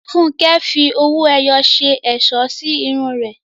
Funke fi owó ẹyọ ṣe ẹ̀ṣọ́ sí irun rẹ̀.